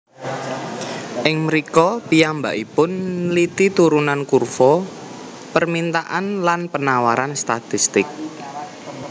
Ing mrika piyambakipun nliti turunan kurva permintaan lan penawaran statistik